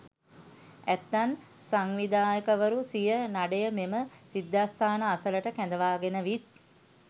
ඇතැම් සංවිධායකවරු සිය නඩය මෙම සිද්ධස්ථාන අසලට කැඳවාගෙන විත්